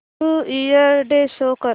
new year day show कर